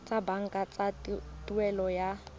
tsa banka tsa tuelo ya